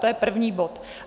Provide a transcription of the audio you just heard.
- To je první bod.